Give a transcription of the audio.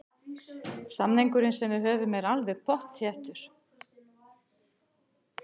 Samningurinn sem við höfum er alveg pottþéttur.